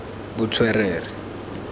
botswerere